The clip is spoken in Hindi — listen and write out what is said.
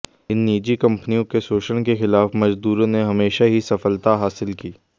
इन निजी कंपनियों के शोषण के खिलाफ मज़दूरों ने हमेशा ही सफलता हासिल की